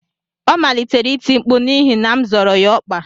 Ọ malitere iti mkpu n'ihi na m zọrọ ya ọkpa